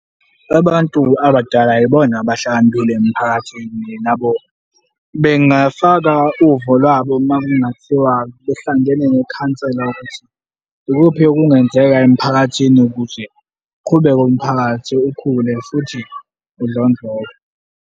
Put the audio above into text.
Abantu abadala yibona abahlakaniphile emphakathini nabo bengafaka uvo lwabo uma kungathiwa behlangene nekhansela ukuthi ikuphi okungenzeka emphakathini ukuze kuqhubeke umphakathi ukhule futhi udlondlobe.